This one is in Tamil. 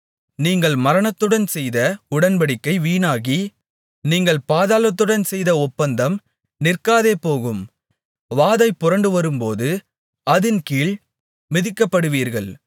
நீங்கள் மரணத்துடன் செய்த உடன்படிக்கை வீணாகி நீங்கள் பாதாளத்துடன் செய்த ஒப்பந்தம் நிற்காதேபோகும் வாதை புரண்டுவரும்போது அதின் கீழ் மிதிக்கப்படுவீர்கள்